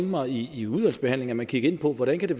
mig i i udvalgsbehandlingen at man kiggede på hvordan det